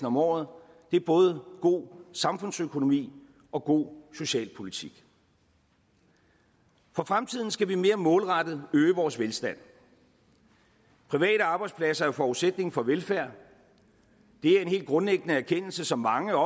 om året det er både god samfundsøkonomi og god socialpolitik for fremtiden skal vi mere målrettet øge vores velstand private arbejdspladser er forudsætningen for velfærd det er en helt grundlæggende erkendelse som mange og